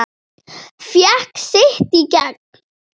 Fékk sitt í gegn.